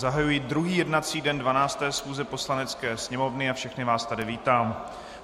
Zahajuji druhý jednací den 12. schůze Poslanecké sněmovny a všechny vás tady vítám.